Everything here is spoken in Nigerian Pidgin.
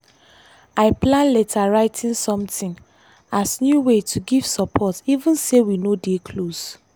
i plan letter writing something as new way to give support even say we no dey close.